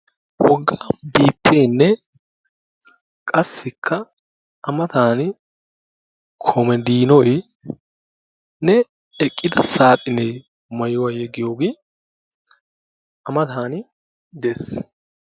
Wogga 'biippeenne' qassikka a matan 'komadiinoynne' eqqida saaxinee maayuwa yeggiyoogee a matan de'ees.